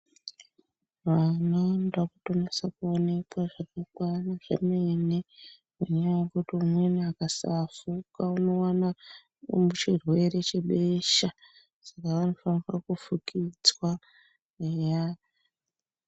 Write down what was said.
Vana vanoda kutonyatsa kuonekwa zvakakwana zvemene. Ngenyaya yekuti umweni akasafuka unowana chirwere chebesha. Saka vanofanirwa kufukidzwa eya.